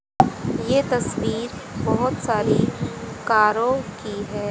यह तस्वीर बहुत सारी कारों की है।